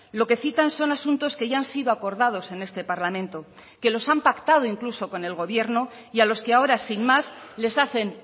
lo que citan son asuntos que ya han sido acordados en este parlamento que los han pactado incluso con el gobierno y a los que ahora sin más les hacen